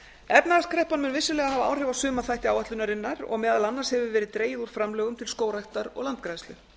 efnahagskreppan mun vissulega hafa áhrif á sumaþætti áætlunarinnar og meðal annars hefur verið dregið úr framlögum til skógræktar og landgræðslu